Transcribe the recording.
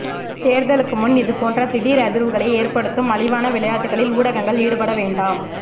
தேர்தலுக்கு முன் இது போன்று திடீர் அதிர்வுகளை ஏற்படுத்தும் மலிவான விளையாட்டுகளில் ஊடகங்கள் ஈடுபடவேண்டாம்